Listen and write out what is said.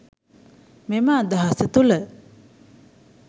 මෙම අදහස තුළ